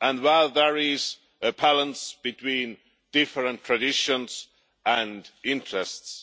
and where there is a balance between different traditions and interests.